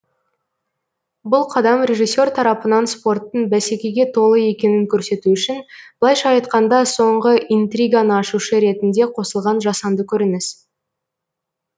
бұл қадам режиссер тарапынан спорттың бәсекеге толы екенін көрсету үшін былайша айтқанда соңғы интриганы ашушы ретінде қосылған жасанды көрініс